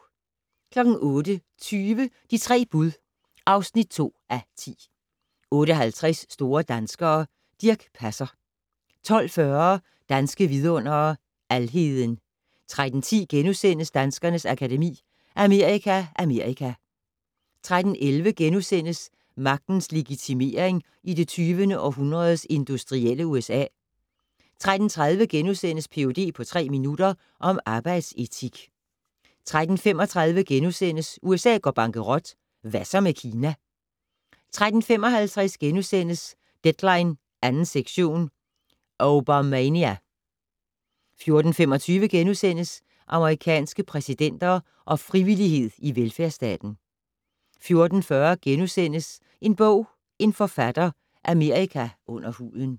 08:20: De 3 bud (2:10) 08:50: Store danskere - Dirch Passer 12:40: Danske Vidundere: Alheden 13:10: Danskernes Akademi: Amerika Amerika * 13:11: Magtens legitimering i det 20. århundredes industrielle USA * 13:30: Ph.d. på tre minutter -om arbejdsetik * 13:35: USA går bankerot - Hvad så med Kina? * 13:55: Deadline 2. sektion - Obamania! * 14:25: Amerikanske præsidenter og frivillighed i velfærdsstaten * 14:40: En bog - en forfatter: Amerika under huden *